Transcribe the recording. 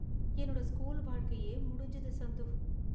என்னோட ஸ்கூல் வாழ்க்கையே முடிஞ்சுது, சந்து.